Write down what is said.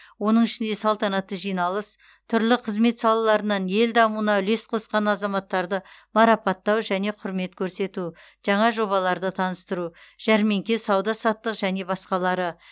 оның ішінде салтанатты жиналыс түрлі қызмет салаларынан ел дамуына үлес қосқан азаматтарды марапаттау және құрмет көрсету жаңа жобаларды таныстыру жәрмеңке сауда саттық және басқалары